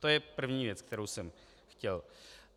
To je první věc, kterou jsem chtěl.